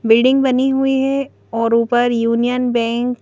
building बनी हुई है और ऊपर यूनियन बैंक --